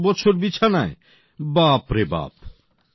৭ বছর বিছানায় বাপরে বাপ